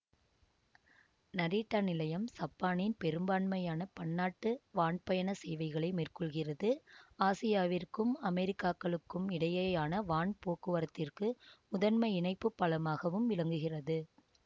Narita நிலையம் சப்பானின் பெரும்பான்மையான பன்னாட்டு வான்பயணச் சேவைகளை மேற்கொள்கிறது ஆசியாவிற்கும் அமெரிக்காக்களுக்கும் இடையேயான வான் போக்குவரத்திற்கு முதன்மை இணைப்புப் பாலமாகவும் விளங்குகிறது